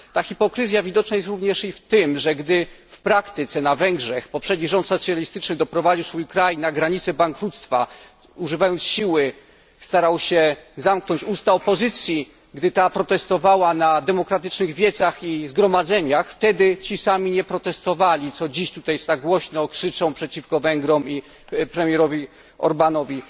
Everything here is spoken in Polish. Ta hipokryzja widoczna jest również i w tym, że gdy w praktyce na Węgrzech poprzedni rząd socjalistyczny doprowadził swój kraj do granicy bankructwa, używając siły, starał się zamknąć usta opozycji, gdy ta protestowała na demokratycznych wiecach i zgromadzeniach, wtedy ci sami nie protestowali, co dziś tak głośno krzyczą przeciwko Węgrom i premierowi Orbanowi.